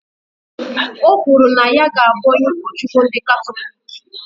Ọ kwuru na ya ga abụ onye Ukochukwu ndị Katọlik